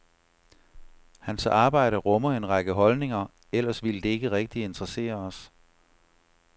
Hans arbejde rummer en række holdninger, ellers ville det ikke rigtig interessere os.